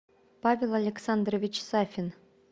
павел александрович сафин